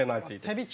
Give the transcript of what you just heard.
Onda biri penalti idi.